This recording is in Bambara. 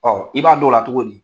Ɔ i b'a don la cogo di?